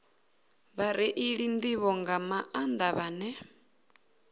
vhareili nḓivho nga maanḓa vhane